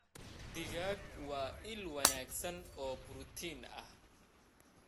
Digaag waa il wanaagsan oo borotiin ah.